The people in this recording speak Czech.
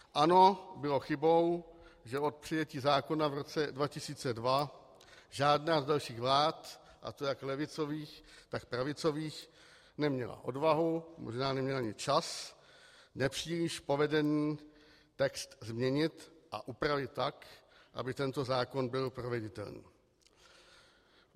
Ano, bylo chybou, že od přijetí zákona v roce 2002 žádná z dalších vlád, a to jak levicových, tak pravicových, neměla odvahu, možná neměla ani čas nepříliš povedený text změnit a upravit tak, aby tento zákon byl proveditelný.